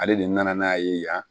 Ale de nana n'a ye yan